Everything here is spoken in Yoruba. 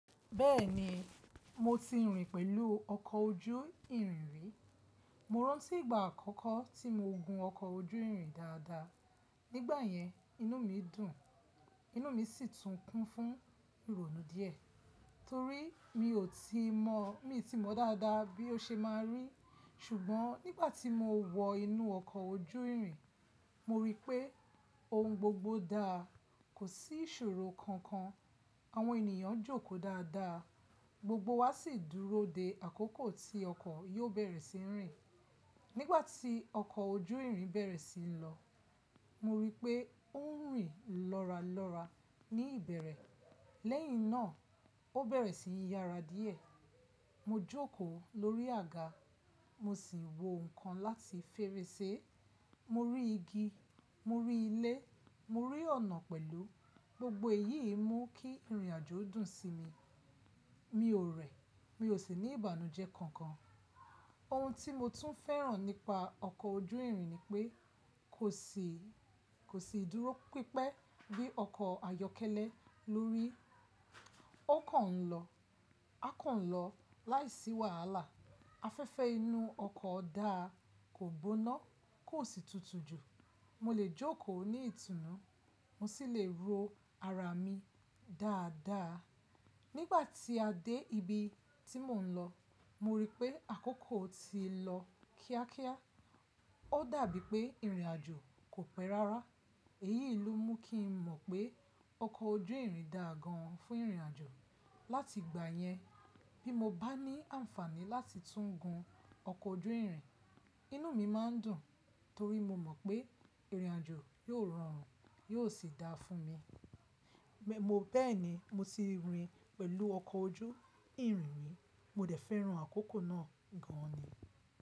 Bẹ́ẹ̀ni, mo ti rìn pẹ̀lú ọkọ̀ ojú ìrìn ri, Mo rántí ìgbà àkọ́kọ́ tí mo gun ọkọ̀ ojú ìrìn dáadáa. Nígbà yẹn, inú mi dùn, inú mi sì tún kún fún ìrònú díẹ̀ torí mi ò tí mọ̀, mi n tí mọ̀ dáadáa bí ó ṣe máa rì. Ṣùgbọ́n nígbà tí mo wọ inú ọkọ̀ ojú ìrìn, mo rí pé ohun gbogbo dáa, kò sí ìṣòro kankan. Àwọn ènìyàn jókòó dáadáa, gbogbo wa sì dúró de àkókò tí ọkọ̀ yóò bẹ̀rẹ̀ sí í rìn. Nígbà tí ọkọ̀ ojú ìrìn bẹ̀rẹ̀ sí í lọ, mo rí i pé ó ń rìn lọ́ralọ́ra ní ìbẹ̀rẹ̀, lẹ́yìn náà ó bẹ̀rẹ̀ sí ni yára díẹ̀. Mo jókòó lórí àga, mo sì wo nǹkan láti fèrèsé. Mo rí igi, mo rí ilé, mo rí ọ̀nà pẹ̀lú. Gbogbo èyí mú kí ìrìnàjò dùn sí mi. Mi ò rẹ̀, mi ò sì ní ìbànújẹ́ kankan. Ohun tí mo tún fẹ́ràn nípa ọkọ̀ ojú ìrìn ni pé kò sì, kò sì dúró pípẹ́ bí ọkọ̀ ayọ́kẹ́lẹ́ lórí. Ó kàn ń lọ, a kàn ń lọ láìsí wàhálà. Afẹ́fẹ́ inú ọkọ̀ dáa, kò gbóná, kò sì tutù jù. Mo lè jókòó ní ìtùnú, mo sì lè ro ara mi dáadáa. Nígbà tí a dé ibi tí mò ń lọ, mo rí i pé àkókò ti lọ kíákíá. Ó dàbí pé ìrìnàjò kò pẹ́ rárá. Èyí ló mú kí n mọ̀ pé ọkọ̀ ojú ìrìn dáa gan fún ìrìnàjò. Láti ìgbà yẹn, bí mo bá ní àǹfààní láti tún gun ọkọ̀ ojú ìrìn, inú mi má ń dùn torí mo mọ̀ pé ìrìnàjò yóò rọrùn, yóò sì dáa fún mi. Bẹ́ẹ̀ni, mo ti rìn pẹ̀lú ọkọ̀ ojú ìrìn rí, mo dẹ̀ fẹ́ran àkókò náà gan ni.